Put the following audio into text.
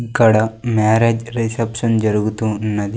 ఇక్కడ marriage reception జరుగుతూ ఉన్నది.